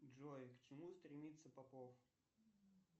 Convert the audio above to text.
джой к чему стремится попов